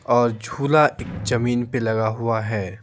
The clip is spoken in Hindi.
और झूला एक जमीन पे लगा हुआ है।